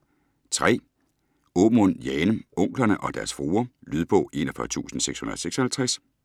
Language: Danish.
Aamund, Jane: Onklerne og deres fruer Lydbog 41656